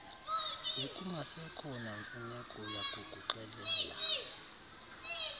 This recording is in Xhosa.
bekungasekho namfuneko yakukuxelela